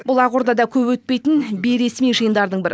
бұл ақордада көп өтпейтін бейресми жиындардың бірі